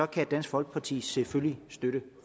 kan dansk folkeparti selvfølgelig støtte